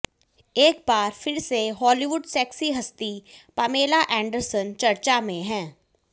एक बार फिर से हॉलीवुड सेक्सी हस्ती पामेला एंडरसन चर्चा में हैं